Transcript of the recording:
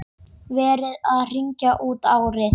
Verið að hringja út árið.